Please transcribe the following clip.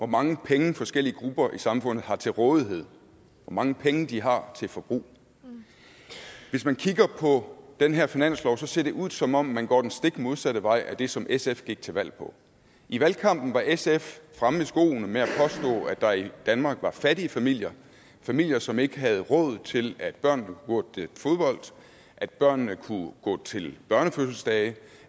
mange penge forskellige grupper i samfundet har til rådighed hvor mange penge de har til forbrug hvis vi kigger på den her finanslov ser det ud som om man går den stik modsatte vej af det som sf gik til valg på i valgkampen var sf fremme i skoene med at der i danmark var fattige familier familier som ikke havde råd til at børnene kunne gå til fodbold at børnene kunne gå til børnefødselsdage